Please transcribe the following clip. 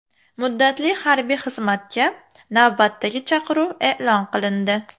Muddatli harbiy xizmatga navbatdagi chaqiruv e’lon qilindi.